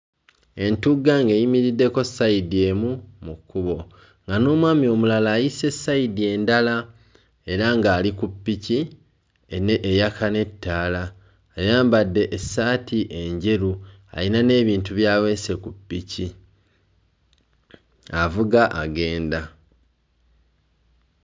Entugga ng'eyimiriddeko ssayidi emu mu kkubo nga n'omwami omulala ayise ssayidi endala era ng'ali ku ppiki ene eyaka n'ettaala. Ayambadde essaati enjeru ayina n'ebintu by'aweese ku ppiki avuga agenda.